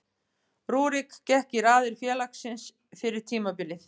Rúrik gekk í raðir félagsins fyrir tímabilið.